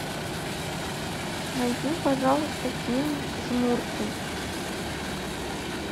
найди пожалуйста фильм жмурки